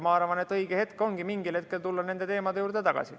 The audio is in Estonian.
Ma arvan, et õige ongi mingil hetkel tulla nende teemade juurde tagasi.